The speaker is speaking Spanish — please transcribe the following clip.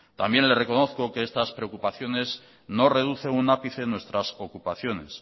también le reconozco que estas preocupaciones no reduce un ápice en nuestras ocupaciones